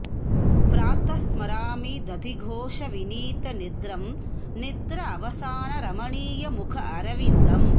प्रातः स्मरामि दधि घोष विनीत निद्रम् निद्र अवसान रमणीय मुख अरविन्दम्